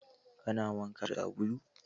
Kana wanka da sabulu?